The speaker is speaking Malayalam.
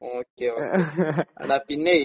ഓക്കേ. ഓക്കേ. എടാ പിന്നെ